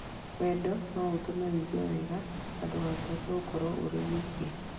Wendo no ũtũme ũigue wega na ndũgacoke gũkorũo ũrĩ wiki.